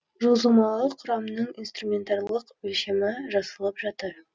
жылжымалы құрамның инструментарлық өлшемі жасалып жатыр